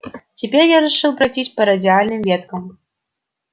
теперь я решил пройтись по радиальным веткам